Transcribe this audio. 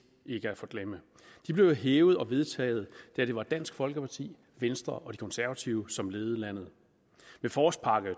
ikke at forglemme de blev jo hævet og vedtaget da det var dansk folkeparti venstre og konservative som ledede landet med forårspakke